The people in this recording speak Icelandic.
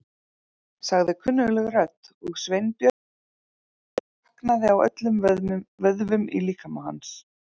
sagði kunnugleg rödd og Sveinbjörn fann hvernig slaknaði á öllum vöðvum í líkama hans.